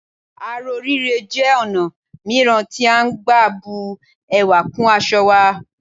Aró rírẹ́ jẹ́ ọ̀nà mìíràn tí à ń gbà bu ẹwà kún aṣọ wa